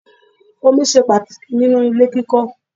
Omi ṣe pàtàkì nínú ilé kíkọ́.